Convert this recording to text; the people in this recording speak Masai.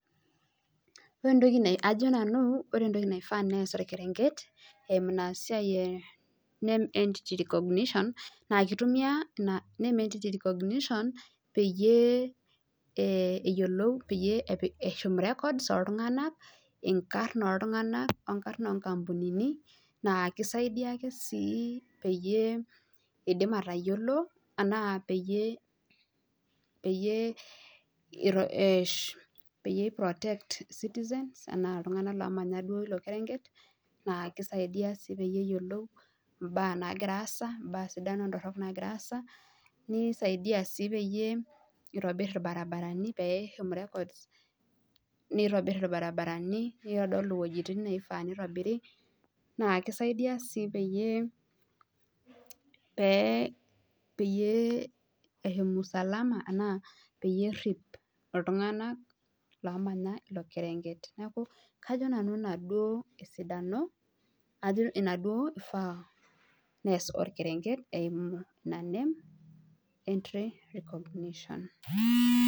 Ore entoki ajo nanu, ore entoki neifaa neas orkirenget eimu naa esiai ee NMS recognition naa keitumiya NMT recognition peyie eyiolou peyie etum rekods oltunganak, inkarn oltunganak, onkarn oltunganak onkampunini naa keisaidia sii peyie eidim atayiolo anaa peyie eidim atayiolo, peyie peyie eiprotekt citizen anaa iltunganak loomanya ilo irkirenget naa keisaidia sii peyie eyiolou imbaa nagira aasa, imbaa sidan ontorok naagira aasa, neisaidiya si peyie eitobir irbaribarani peyie eshum records neitobir irbaribarani nedol wuejitin neifaa neitobiri naa keisaidia sii peyie, pee peyie etum usalama tanaa peyie eriiip oltunganak loomanya ilo irkirenget, naaku kajo nanu ina duo esidano kajo inaduo eifaa neas orkirenget eimu ina name entry recognition.